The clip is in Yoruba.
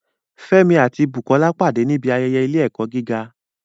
Fẹ́mi àti Bukola pàdé níbi ayẹyẹ ilé-ẹ̀kọ́ gíga